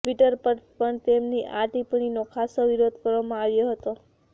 Twitter પર પણ તેમની આ ટિપ્પણીનો ખાસો વિરોધ કરવામાં આવ્યો હતો